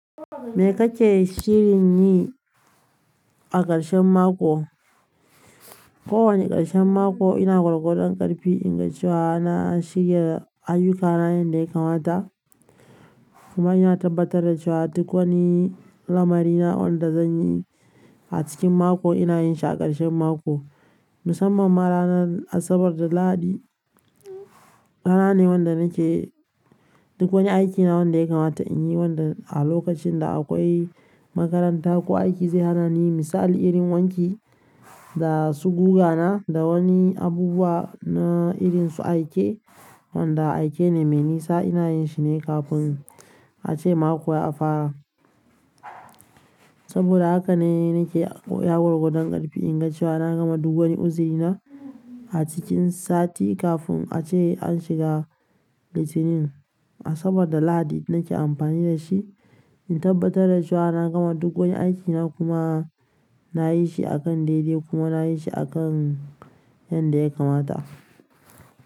Me kake shirin yi a ƙarshen mako? Ko wane ƙarshen mako ina gorgo don ƙarfi in ga cewa na shirya ayyukana yadda ya kamata. Kuma ina tabbatar da cewa duk wani lamari na wanda zan yi a cikin mako ina yin shi a ƙarshen mako. Musamman ma ranar Asabar da Lahadi, rana ne wanda nake duk wani aikina wanda ya kamata in yi wanda a lokacin da akwai makaranta ko aiki zai hana ni yi. Misali, irin wanki da su guga na da wani abubuwa na irin su aike wanda aike ne mai nisa ina yin shi ne kafin a ce mako ya fara. Saboda haka ne nake ya gorgo don ƙarfi in ga cewa na gama duk wani uziri na a cikin sati kafin a ce an shiga litinin. Asabar da Lahadi nake amfani da shi in tabbatar da cewa na gama duk wani aikina kuma na yi shi a kan daidai kuma na yi shi a kan yadda ya kamata.